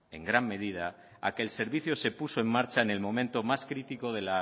en gran medida a que el servicio se puso en marcha en el momento más crítico de